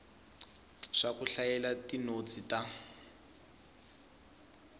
swa ku hlayela tinotsi ta